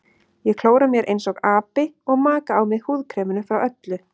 Ég klóra mér einsog api og maka á mig húðkreminu frá Öllu.